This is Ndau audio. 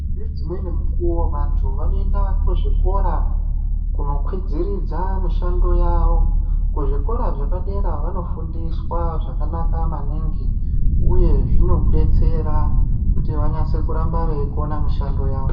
Ngedzimweni mukuwo vantu vanoenda kuzvikora kunokwidziridza mishando yavo kuzvikora zvepadera vanofundiswa zvakanaka maningi uye zvinodetsera kuti vanyase kuramba veikona mishando yavo.